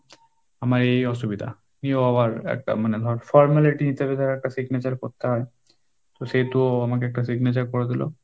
আমার এই এই অসুবিধা এও আবার একটা মানে ধর formality হিসাবে তারা একটা signature করতে হয় তো সেহেতু আমাকে একটা signature করে দিলো,